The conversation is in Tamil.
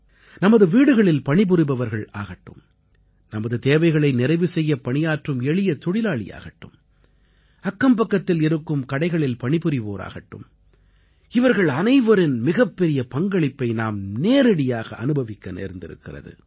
நமது வீடுகளில் பணிபுரிபவர்கள் ஆகட்டும் நமது தேவைகளை நிறைவு செய்ய பணியாற்றும் எளிய தொழிலாளியாகட்டும் அக்கம்பக்கத்தில் இருக்கும் கடைகளில் பணிபுரிவோர் ஆகட்டும் இவர்கள் அனைவரின் மிகப்பெரிய பங்களிப்பை நாம் நேரடியாக அனுபவிக்க நேர்ந்திருக்கிறது